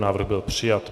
Návrh byl přijat.